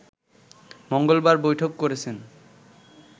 মঙ্গলবার বৈঠক করেছেন